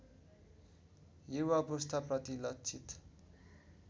युवा पुस्ताप्रति लक्षित